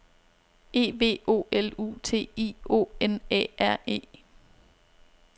E V O L U T I O N Æ R E